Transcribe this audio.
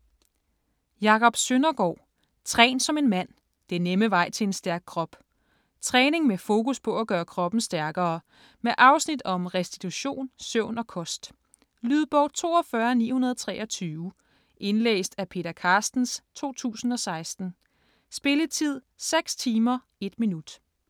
Søndergaard, Jacob: Træn som en mand: den nemme vej til en stærk krop Træning med fokus på at gøre kroppen stærkere. Med afsnit om restitution, søvn og kost. Lydbog 42923 Indlæst af Peter Carstens, 2016. Spilletid: 6 timer, 1 minut.